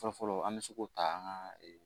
Fɔlɔfɔlɔ an bɛ se k'o ta an ka